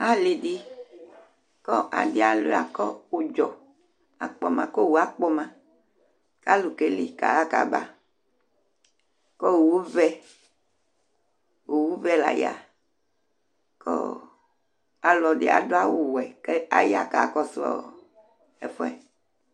Alɩ dɩ kʋ adɩ alʋɩa kʋ ʋdzɔ akpɔ ma kʋ owu akpɔ ma kʋ alʋ keli kaɣa kaba kʋ owuvɛ, owuvɛ la ya kʋ ɔ alɔdɩ adʋ awʋwɛ kʋ aya kakɔsʋ ɔ ɛfʋ yɛ